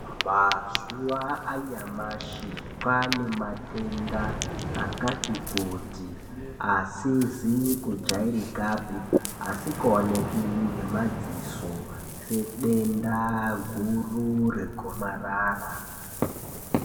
Mazuwa anyamashi kwaane matenda akati kuti asizi kujairikapi asingaoneki ngemadziso sedenda guru regomarara.